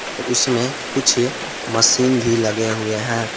उसमें कुछ मशीन भी लगे हुए हैं।